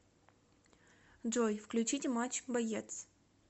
джой включите матч боец